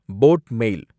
boat மேல்